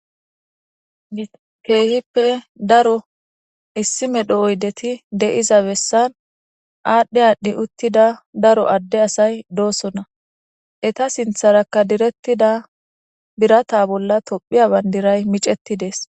Keehippe daro issi medho oudeti de'iza besani adhi adhi utida daro adde asayi dosona. Eta sintharaka diretida biratta bolla tophiya Bandray micetidesi.